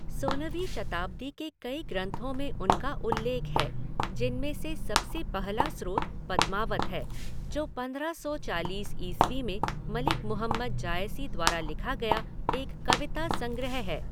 सोलहवीं शताब्दी के कई ग्रंथों में उनका उल्लेख है, जिनमें से सबसे पहला स्रोत पद्मावत है, जो पंद्रह सौ चालीस ईस्वी में मलिक मुहम्मद जायसी द्वारा लिखा गया एक कविता संग्रह है।